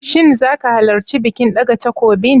Shin zaka halarci bikin ɗaga takobin?